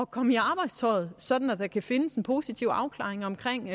komme i arbejdstøjet sådan at der kan findes en positiv afklaring omkring